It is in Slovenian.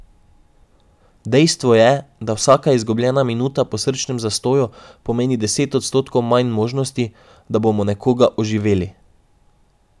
Dejstvo je, da vsaka izgubljena minuta po srčnem zastoju pomeni deset odstotkov manj možnosti, da bomo nekoga oživeli.